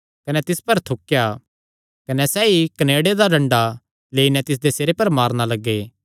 कने तिस पर थूकेया कने सैई कनेड़े दा डंडा लेई नैं तिसदे सिरे पर मारणा लग्गे